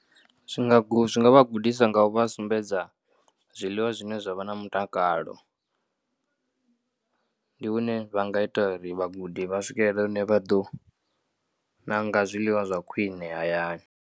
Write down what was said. Zwi nga guda, zwi nga vha gudisa nga u vha sumbedza zwiḽiwa zwine zwa vha na mutakalo ndi hune vha nga ita uri vhagudi vha swikelela hune vha ḓo ṋanga zwiḽiwa zwa khwine hayani.